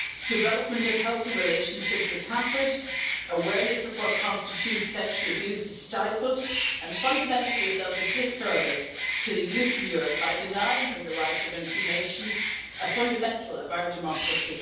Development of healthy relationships is hampered, awareness of what constitutes sexual abuse is stifled, and fundamentally it does a disservice to the youth in Europe by denying them the right of information, a fundamental of our democracy.